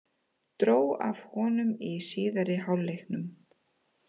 Dró af honum í síðari hálfleiknum.